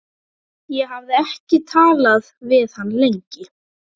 Ég hafði ekki talað við hann lengi.